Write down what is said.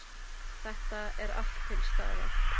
Þetta er allt til staðar!